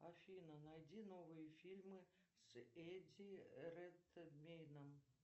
афина найди новые фильмы с эдди редмейном